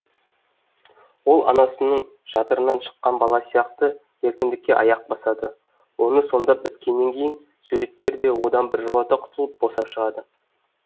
ол анасының жатырынан шыққан бала сияқты еркіндікке аяқ басады оны сомдап біткеннен кейін суреткер де одан біржола құтылып босап шығады